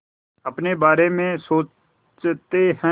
अपने बारे में सोचते हैं